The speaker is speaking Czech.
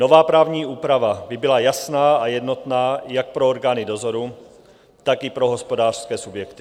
Nová právní úprava by byla jasná a jednotná jak pro orgány dozoru, tak i pro hospodářské subjekty.